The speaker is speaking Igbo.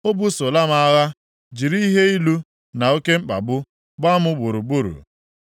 O busola m agha, jiri ihe ilu na oke mkpagbu gbaa m gburugburu.